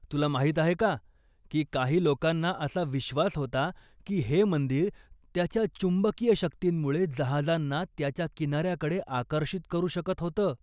तुला माहीत आहे का की काही लोकांना असा विश्वास होता की हे मंदिर त्याच्या चुंबकीय शक्तींमुळे जहाजांना त्याच्या किनाऱ्याकडे आकर्षित करू शकत होतं?